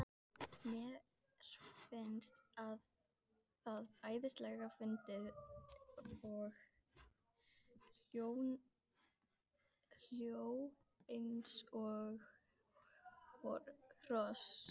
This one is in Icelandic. Mér fannst það æðislega fyndið og hló eins og hross.